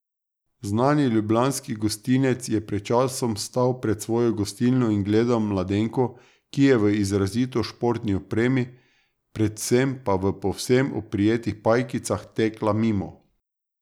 Znani ljubljanski gostinec je pred časom stal pred svojo gostilno in gledal mladenko, ki je v izrazito športni opremi, predvsem pa v povsem oprijetih pajkicah tekla mimo.